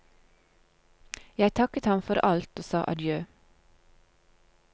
Jeg takket han for alt og sa adjø.